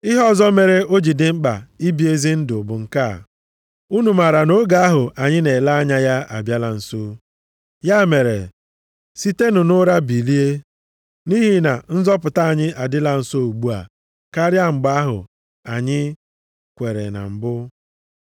Ihe ọzọ mere o ji dị mkpa ibi ezi ndụ bụ nke a. Unu maara na oge ahụ anyị na-ele anya ya abịala nso. Ya mere, sitenụ nʼụra bilie, nʼihi na nzọpụta anyị adịla nso ugbu a karịa mgbe ahụ anyị kweere na mbụ.